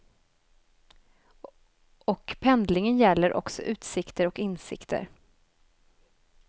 Och pendlingen gäller också utsikter och insikter.